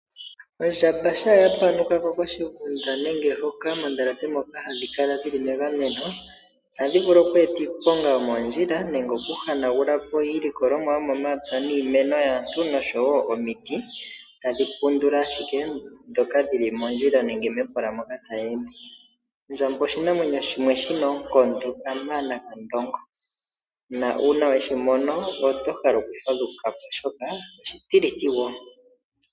Ondjamba shampa ya panuka ko koshigunda nenge mondhalate moka hadhi kala dhili megameno, ohadhi vulu oku eta iiponga yomoondjila nenge oku hanagula po iilikolomwa yomomapya niimeno yaantu osho wo omiti tadhi pundula ashike ndhoka dhi li mondjila nenge mepola moka tayi ende. Ondjamba oshinamwenyo shimwe shi na oonkondo kamana kandongo, nuuna we shi mono oto hala oku fadhuka po oshoka oshitilithi wo.